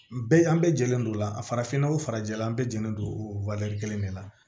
Bɛɛ an bɛɛ jɛlen don o la a farafinnɔgɔ farajɛla an bɛɛ jɛlen don o kelen de la